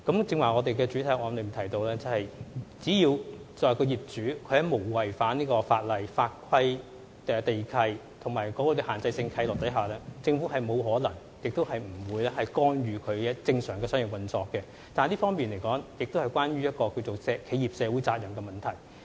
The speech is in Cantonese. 正如我在主體答覆中提到，只要業主沒有違反法規、地契條款或限制性契諾，政府沒有可能、亦不會干預其正常的商業運作，但這方面亦關乎企業社會責任問題。